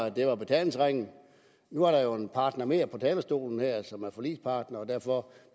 at det var betalingsringen nu er der jo en partner mere på talerstolen som er forligspartner og derfor